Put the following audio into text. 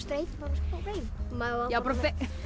beint með smá beygjum